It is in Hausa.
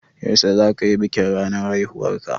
Yaushe zaka yi bikin ranar haihuwarka?